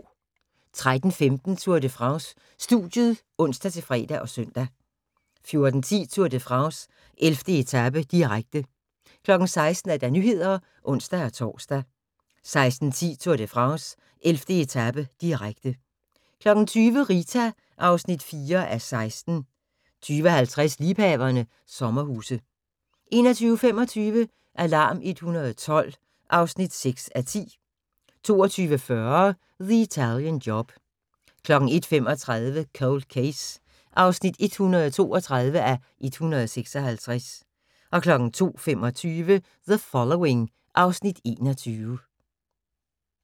13:15: Tour de France: Studiet (ons-fre og søn) 14:10: Tour de France: 11. etape, direkte 16:00: Nyhederne (ons-tor) 16:10: Tour de France: 11. etape, direkte 20:00: Rita (4:16) 20:50: Liebhaverne – sommerhuse 21:25: Alarm 112 (6:10) 22:40: The Italian Job 01:35: Cold Case (132:156) 02:25: The Following (Afs. 21)